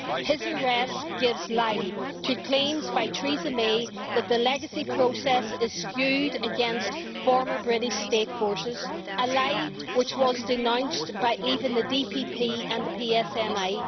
His arrest gives lie to claims by Mrs Theresa May that the legacy process is skewed against former British state forces a lie which was denounced by even the DPP and the PSNI.